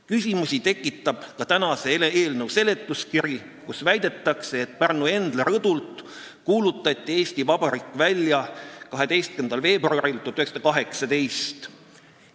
Küsimusi tekitab ka eelnõu seletuskiri, kus väidetakse, et Pärnu Endla rõdult kuulutati Eesti Vabariik välja 12. veebruaril 1918.